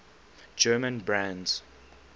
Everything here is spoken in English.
german brands